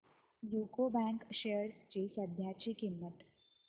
UCO bank shares ची सध्याची किंमत